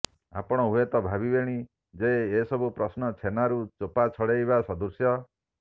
ଆପଣ ହୁଏତ ଭାବିବେଣି ଯେ ଏସବୁ ପ୍ରଶ୍ନ ଛେନାରୁ ଚୋପା ଛଡେଇବା ସଦୄଶ